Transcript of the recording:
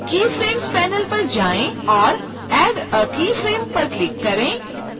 keyframes panel पर जाएँ और add a keyframe पर क्लिक करें